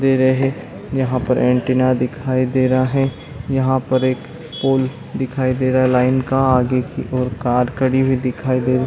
दे रहे यहाँ पर ऐन्टीना दिखाई दे रहा है यहाँ पर एक पोल दिखाई दे रहा लाइन का आगे की ओर कार खड़ी हुई दिखाई दे --